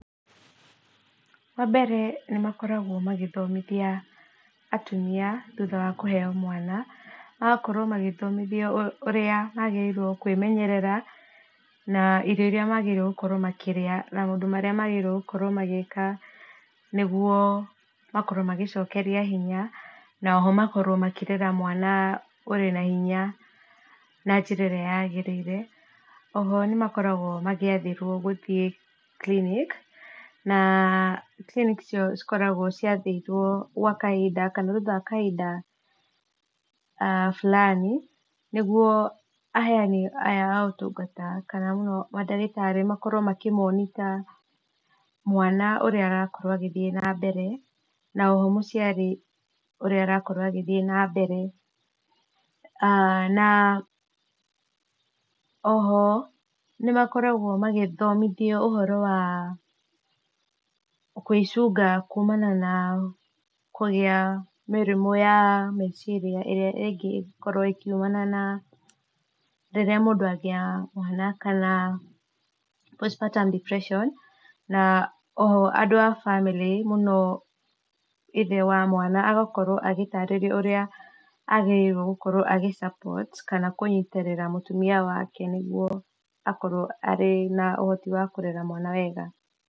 Wa mbere nĩ makoragwo magĩthomithia atumia thutha wa kũheo mwana, magakorwo magĩthomithio ũrĩa magĩrĩirwo kwĩmenyerera, na irio iria magĩrĩirwo gũkorwo makĩrĩa, maũndũ marĩa magĩrĩirwo magĩĩka, nĩgwo makorwo magĩcokeria hinya, na oho makorwo makĩrera mwana ũrĩ na hinya na njĩra ĩrĩa yagĩrĩire, oho nĩmakoragwo magĩathĩrwo gũthiĩ clinic, na clinic ciao cikoragwo ciathĩirwo gwa kahinda, kana thutha wa kahinda a burani, nĩgwo aheani aya a ũtungata , kana mũno mandagĩtarĩ makorwo makĩ monitor mwana ũrĩa arakorwo agĩthiĩ na mbere, na oho mũciari ũrĩa arakorwo agĩthiĩ na mbere , ah na oho, nĩmakoragwo magĩthomithio ũhoro wa kwĩcunga kumana na kũgĩa mĩrimũ ya meciria ,ĩrĩa ĩngĩkorwo ĩkiumana na rĩrĩa mũndũ agĩa mwana, kana postmertam depression, na oho, andũ a bamĩrĩ mũno ithe wa mwana, agakorwo agĩtarĩrio ũrĩa agĩrĩirwo gũ support, kana kũnyitĩrĩra mũtumia wake, nĩgwo akorwo arĩ na ũhoti wa kũrera mwana wega.